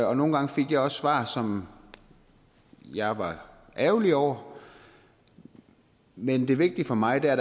og nogle gange fik jeg også svar som jeg var ærgerlig over men det vigtige for mig er